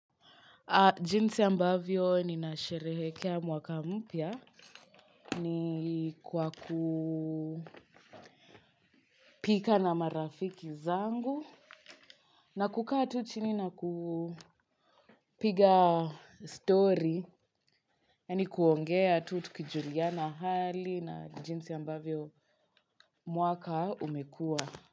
Jinsi ambavyo ni nasherehekea mwaka mpya ni kwa kupika na marafiki zangu na kukaa tu chini na kupiga story ni kuongea tukijuliana hali na jinsi ambavyo mwaka umekua.